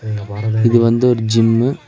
இங்க பாருங்க இது வந்து ஒரு ஜிம்மு .